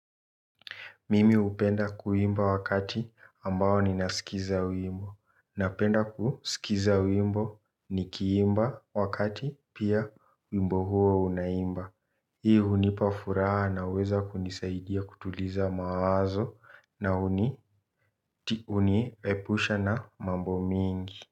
Mimi upenda kuimba wakati ambao ninasikiza wimbo. Napenda kuskiza wimbo nikiimba wakati pia wimbo huo unaimba. Hii hunipa furaa na uweza kunisaidia kutuliza mawazo na uni epusha na mambo mingi.